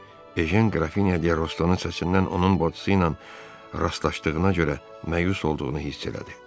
Ejen Qrafinya de Restonun səsindən onun bacısı ilə rastlaşdığına görə məyus olduğunu hiss elədi.